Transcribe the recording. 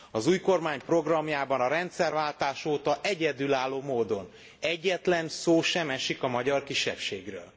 Az új kormány programjában a rendszerváltás óta egyedülálló módon egyetlen szó sem esik a magyar kisebbségről.